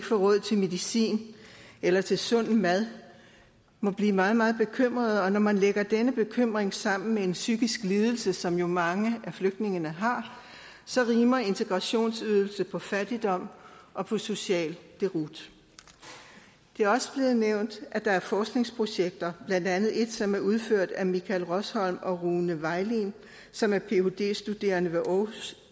få råd til medicin eller til sund mad må blive meget meget bekymrede når man lægger denne bekymring sammen med en psykisk lidelse som jo mange af flygtningene har så rimer integrationsydelse på fattigdom og på social deroute det er også blevet nævnt at der er forskningsprojekter blandt andet et som er udført af michael rosholm og rune vejlin som er phd studerende ved aarhus